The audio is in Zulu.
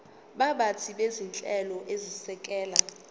baphathi bezinhlelo ezisekela